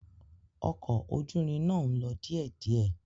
Ọkọ̀ ojú irin náà ń lọ díẹ̀díẹ̀.